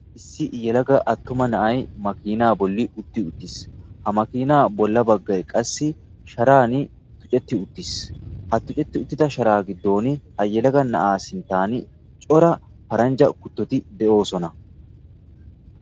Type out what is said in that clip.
Issi yelaga attuma na'ayi makiinaa bollan utti uttis. Ha makiinaa bolla baggayi qassi shataani tucetti uttis. Ha tucetti uttida shataa giddon ha yelaga na'aa sinttan cora paranjja kuttoti de"oosona.